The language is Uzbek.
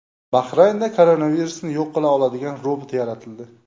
Bahraynda koronavirusni yo‘q qila oladigan robot yaratildi.